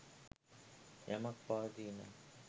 යමක් පවතී නම්